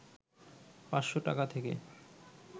৫০০ টাকা থেকে